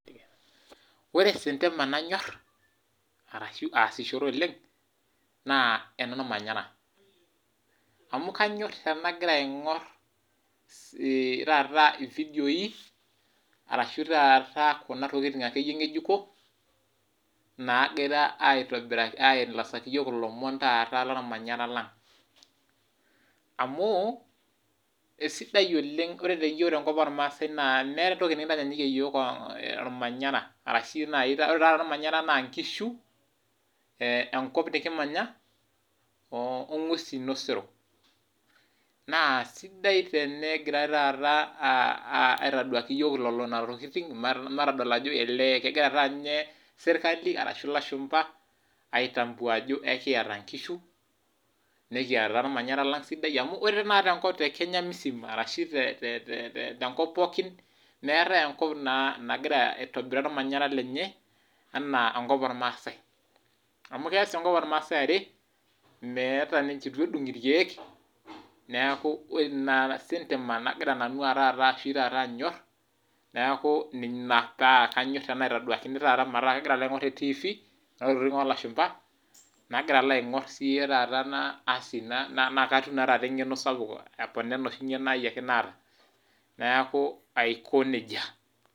Ore sintema nanyor, orashu aasishore oleng naa enormanyera ,amu kanyor tenagira aingor taata ivedioi orashua taata Kuna tokiting ekeyie ngejuko naagirae ainosaki yiok ilomon lormanyera lang amu ore tenkopang iyiok irmaasai meeta entoki nikintanyaanyukie ormanyera ,ore naaji ormanyera naa nkishu, enkop nikimanya ongwesin osero, naa sidai tenegirae aitodol taata yiok nena tokiting matodol ajo olee kegira taa ninye serkali orashu ilashumpa aitambua ajo ekiata inkishu nekiata ormanyera lang sidai amu ore tenkop tenkata tekenya msima tenkop pookin meetae enkop nagira aitobiraa ormanyera lenye anaa enkop ormaasai amu kees enkop ormaasai are ,eitu edung irkeek, neeku ina sintema nagira taata nanu anyor neeku ina paa kanyor tenaitoduakini metaa kagira alo aingor te tiifi Kuna tokiting oolashumba ,nagira aingor napona engeno sapuk alang enosiaake engeno aia naata neeku aiko nejia.